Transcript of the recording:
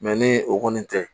ni o kɔni tɛ